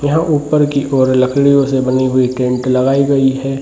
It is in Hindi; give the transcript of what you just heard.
यहाँ ऊपर की ओर लकड़ियों से बनी हुए टेंट लगाई गई।